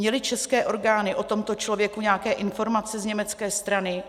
Měly české orgány o tomto člověku nějaké informace z německé strany?